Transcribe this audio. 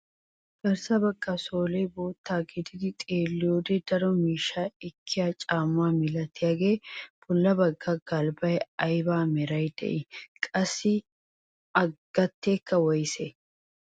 Garssa bagga soolee bootta gidido xeelliyoode daro miishshaa ekkiyaa caamma milatiyaagee bolla bagga galbbay ayba meraara de'ii? qassi a gateekka woysee?